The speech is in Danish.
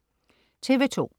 TV2: